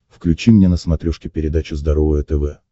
включи мне на смотрешке передачу здоровое тв